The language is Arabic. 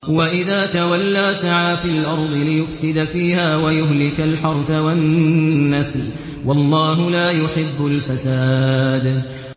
وَإِذَا تَوَلَّىٰ سَعَىٰ فِي الْأَرْضِ لِيُفْسِدَ فِيهَا وَيُهْلِكَ الْحَرْثَ وَالنَّسْلَ ۗ وَاللَّهُ لَا يُحِبُّ الْفَسَادَ